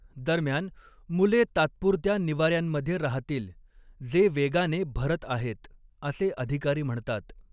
दरम्यान, मुले तात्पुरत्या निवाऱ्यांमध्ये राहतील, जे वेगाने भरत आहेत, असे अधिकारी म्हणतात.